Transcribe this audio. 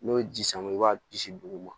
N'o ye ji sama i b'a bisi duguma